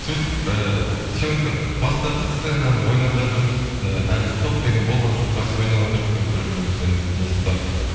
сөйтіп ііі съемка бастадық сценаны ойнап жатырмыз і әлі стоп деген болған жоқ жақсы ойнаватырқ і бір бірімізбен не ұстап